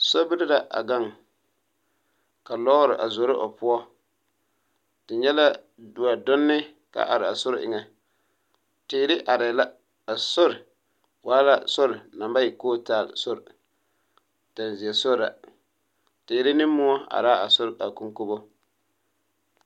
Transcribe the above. Sobiri la a ɡaŋ ka lɔɔre a zoro o poɔ te nyɛ la wɛdonne ka a are a sori eŋɛ teere arɛɛ la a sori waa la sori naŋ ba e kootaale tɛnzeɛ sori la teere ne moɔ are la a sori koŋkobo.